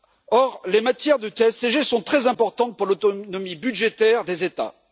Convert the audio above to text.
Or, les matières du TSCG sont très importantes pour l'autonomie budgétaire des États.